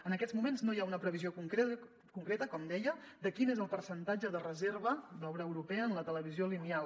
en aquests moments no hi ha una previsió concreta com deia de quin és el per·centatge de reserva d’obra europea en la televisió lineal